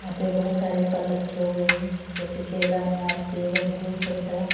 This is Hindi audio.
यहाँ पे बहोत सारे फल रखे हुए हैं जैसे केला अनार सेब अंगूर संतरा।